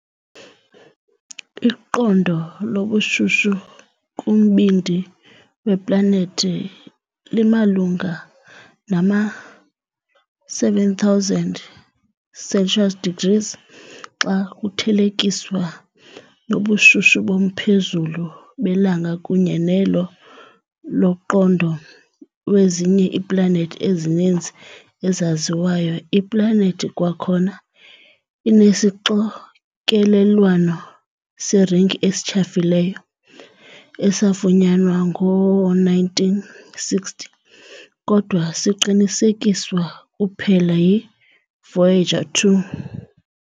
Iqondo lobushushu kumbindi weplanethi limalunga nama-7000 Celsius degrees, xa kuthelekiswa nobushushu bomphezulu beLanga kunye nelo londoqo wezinye iiplanethi ezininzi ezaziwayo. Iplanethi kwakhona inesixokelelwano seringi esityhafileyo, esafunyanwa ngoo-1960 kodwa siqinisekiswa kuphela yiVoyager 2.